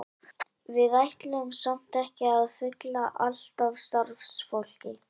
Við ætlum samt ekki að fylla allt af starfsfólki.